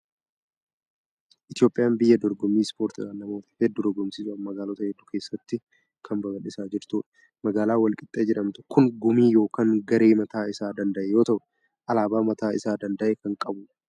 Itoophiyaan biyya dorgommii ispoortiidhaan namoota hedduu dirgomsiisuudhaan magaalota hedduu keessatti kan babal'isaa jirtudha. Magaalaan wal qixxee jedhamtu kun gumii yookiin garee mataa isaa danda'e yoo ta'u, alaabaa mataa isaa danda'e kan qabudha.